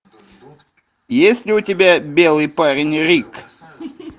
есть ли у тебя белый парень рик